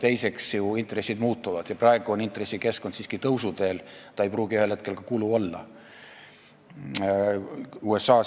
Teiseks, intressid muutuvad ja praegu on intressikeskkond tõusuteel: see ei pruugi ühel hetkel enam kulu olla.